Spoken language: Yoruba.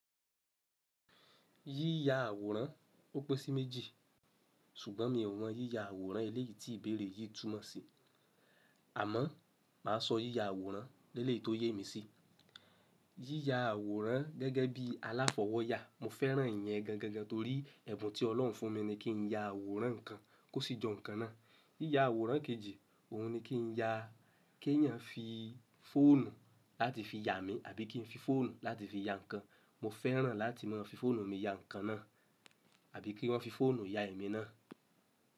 Yíya àwòrán, ó pẹ́ sí méjì. Ṣùgbọ́n mi ò mọ yíya àwòrán eléyìí tí ìbéèrè yìí túmọ̀ sí. Àmọ́ máa sọ yíya àwòrán lẹ́lẹ́èyi tó yé mi sí. Yíya àwòrán gẹ́gẹ́ bí aláfọwọ́yà, mo fẹ́ràn ìyẹn gan gan torí ẹ̀bùn tí Ọlọ́run fún mi ni kí n ya àwòrán ǹkan kó sì jọ ǹkan náà. Yíya àwòrán kejì, òun ni kí n ya, kí èèyàn fi fóònù láti fi ya mi àbí kí n fi fóònù láti fi ya ǹkan. Mo fẹ́ràn láti mọ́ fi fóònù mi ya ǹkan náà àbí kí wọ́n fi fóònù ya èmi náà.